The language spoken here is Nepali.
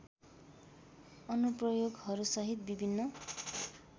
अनुप्रयोगहरूसहित विभिन्न